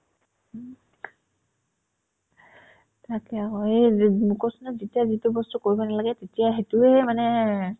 তাকে আকৌ এই যে মই কৈছো না যেতিয়া যিতো বস্তু কৰিব নালাগে এতিয়া সেটোয়ে মানে